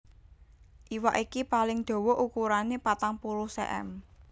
Iwak iki paling dawa ukurané patang puluh cm